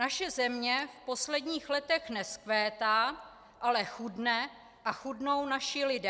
Naše země v posledních letech nevzkvétá, ale chudne a chudnou naši lidé.